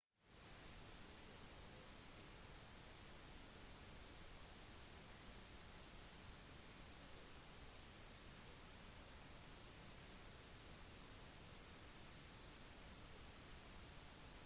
en tidligere elev sa at han «brukte slang i undervisningen inkluderte tips om datingferdigheter i notater og oppførte seg mer som studentenes kompis»